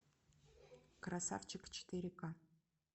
красавчик четыре ка